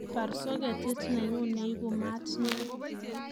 Baar soketit nenyun neibu maat neo